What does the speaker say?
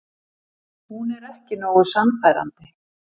Hún er ekki nógu sannfærandi.